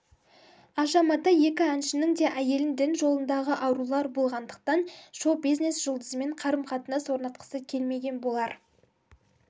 аша матай екі әншінің де әйелі дін жолындағы арулар болғандықтан шоу-бизнес жұлдызымен қарым-қатынас орнатқысы келмеген болар